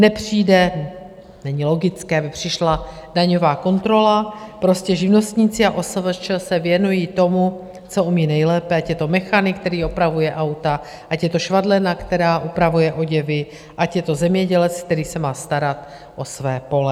Nepřijde, není logické, aby přišla daňová kontrola - prostě živnostníci a OSVČ se věnují tomu, co umí nejlépe, ať je to mechanik, který opravuje auta, ať je to švadlena, která upravuje oděvy, ať je to zemědělec, který se má starat o své pole.